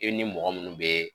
E ni mɔgɔ munnu bɛɛ